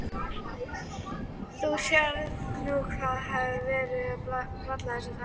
Þú sérð nú hvað verið er að bralla þessa dagana.